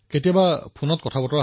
কেতিয়াবা ফোনততো কথা পাতে